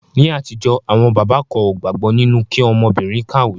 Ní àtijọ́, àwọn bàbá kan ó gbàgbọ́ nínu kí ọmọbìrin kàwé.